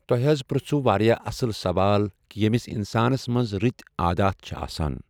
تۄہہِ حظ پرژھوُ واریاہ اصٕل سوال کہِ ییٚمِس انسانس منٛز رٕتۍ عادات چھِ آسان۔